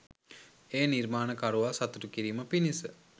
ඒ නිර්මාණකරුවා සතුටු කිරීම පිණිස